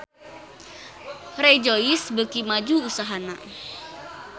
Rejoice beuki maju usahana